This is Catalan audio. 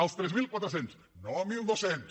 els tres mil quatre cents no mil dos cents